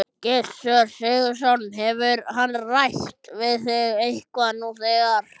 Gissur Sigurðsson: Hefur hann rætt við þig eitthvað nú þegar?